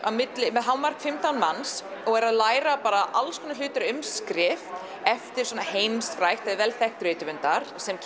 með hámark fimmtán manns og eru að læra bara alls konar hluti um skrif eftir heimsfræga eða vel þekkta rithöfunda sem